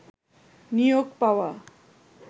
নিয়োগ পাওয়া